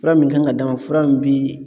Fura min kan ka d'a ma fura min bi